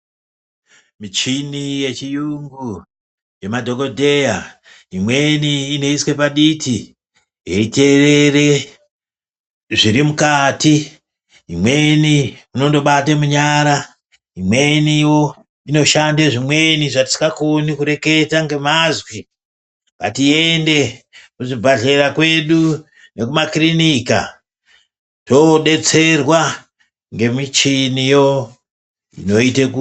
Michini yechiyungu yemadhokodheya imweni inoiswe paditi yeiteerere zvirimukati imweni unondobata munyara imweniwo inoshande zvimweni zvatisingakoni kureketa ngemazwi ngatiende kuzvibhedhlera kwedu nekumakiriniki todetserwa ngemichiniyo inoite kuti.